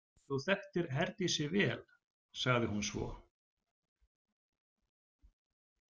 Þú þekktir Herdísi vel, sagði hún svo.